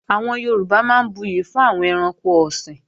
Àwọn Yorùbá máa ń buyè fún àwọn ẹranko ọ̀sìn